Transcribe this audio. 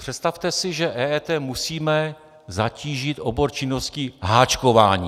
Představte si, že EET musíme zatížit obor činností háčkování.